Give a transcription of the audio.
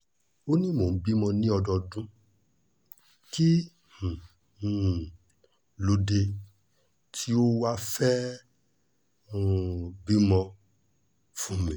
ó ní mò ń bímọ ni ọ́dọọdún kí um ló dé tí o ò wáá fẹ́ẹ́ um bímọ fún mi